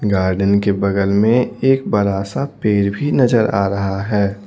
Garden के बगल में एक बड़ा सा पेड़ भी नजर आ रहा है।